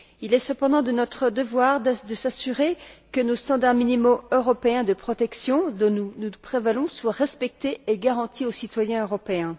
Il est cependant de notre devoir de nous assurer que nos standards minimaux européens de protection, dont nous nous prévalons, soient respectés et garantis au citoyen européen.